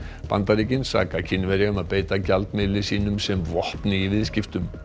Bandaríkin saka Kínverja um að beita gjaldmiðli sínum sem vopni í viðskiptum